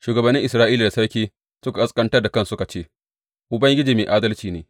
Shugabannin Isra’ila da sarki suka ƙasƙantar da kansu suka ce, Ubangiji mai adalci ne.